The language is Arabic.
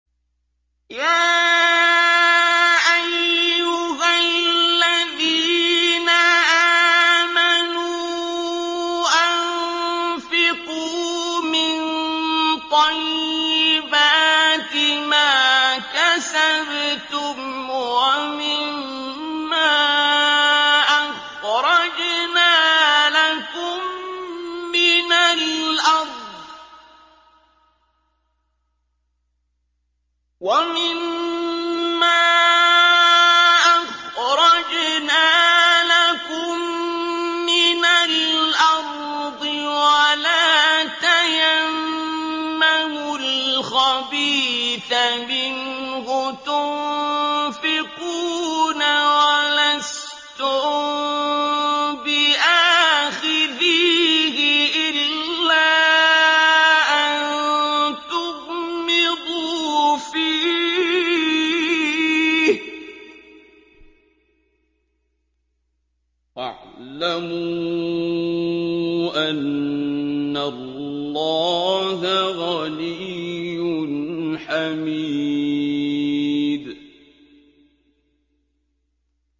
يَا أَيُّهَا الَّذِينَ آمَنُوا أَنفِقُوا مِن طَيِّبَاتِ مَا كَسَبْتُمْ وَمِمَّا أَخْرَجْنَا لَكُم مِّنَ الْأَرْضِ ۖ وَلَا تَيَمَّمُوا الْخَبِيثَ مِنْهُ تُنفِقُونَ وَلَسْتُم بِآخِذِيهِ إِلَّا أَن تُغْمِضُوا فِيهِ ۚ وَاعْلَمُوا أَنَّ اللَّهَ غَنِيٌّ حَمِيدٌ